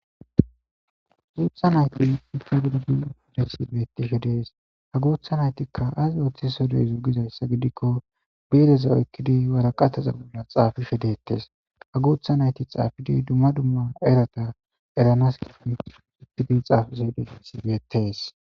guutha nayti infadogiudeessi betishe dees ha gootha naytikka aas ooththi sodey zugizayssa gidikko biireza oykkidi waraqataza bolla xaafishe dettes ha gootha nayti xaafidi dumma dumma erata eranas i supidi xaafise de isi beettees